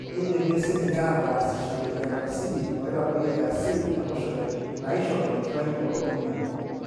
keidimi siininye aataasishore iantacidi oitadoyio eacid enkoshoke neishoru enkitayunoto emion.